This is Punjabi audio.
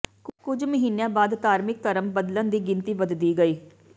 ਕੁਝ ਮਹੀਨਿਆਂ ਬਾਅਦ ਧਾਰਮਿਕ ਧਰਮ ਬਦਲਣ ਦੀ ਗਿਣਤੀ ਵਧਦੀ ਗਈ